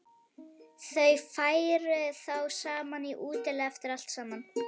Þau færu þá saman í útilegu eftir allt saman.